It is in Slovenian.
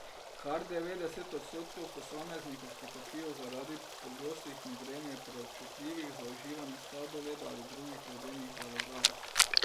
Kar devetdeset odstotkov posameznikov, ki trpijo zaradi pogostih migren, je preobčutljivih za uživanje sladoleda ali drugih ledenih zalogajev.